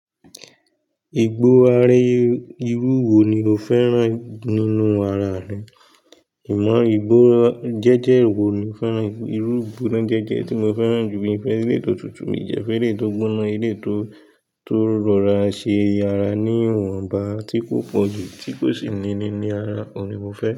Ìgbó are irú wo ni o fẹ́ràn nínú ara rẹ? Ìmọ̀ ìgbórá jẹ́jẹ́ wo ni o fẹ́ràn? Irú ìgbóná gẹ́gẹ́ tí mo fẹ́ràn jù mí i fẹ́ ẹlẹ́yi tọ tutu mi dẹ́ fẹ́ ẹlẹ́yi tọ gbóná, eléyi tó, tó rọra ṣe ára ní ìwọ̀nba tí kò pọ̀ jù, tí kò sì níní ní ara oun ni mo fẹ́ràn.